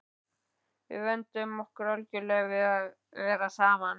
Við vönduðum okkur algjörlega við það að vera saman.